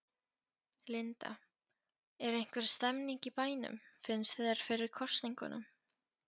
Linda: Er einhver stemning í bænum, finnst þér, fyrir kosningunum?